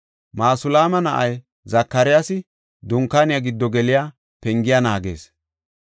Masulaama na7ay Zakariyasi Dunkaaniya giddo geliya pengiya naagees.